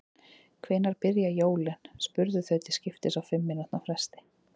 Hvenær byrja jólin? spurðu þau til skiptist á fimm mínútna fresti.